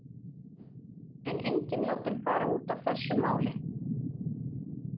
Erla: En enginn látinn fara út af þessu máli?